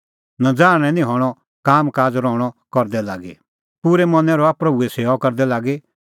नज़ाहणै निं हणअ कामकाज़ रहणअ करदै लागी पूरै मनैं रहा प्रभूए सेऊआ करदै लागी